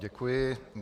Děkuji.